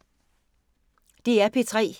DR P3